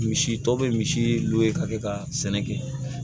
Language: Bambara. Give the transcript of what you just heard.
Misi tɔ bɛ misi nu ye ka kɛ ka sɛnɛ kɛ